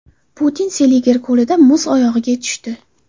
Putin Seliger ko‘lida muz o‘yig‘iga tushdi.